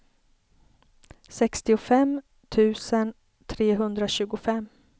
sextiofem tusen trehundratjugofem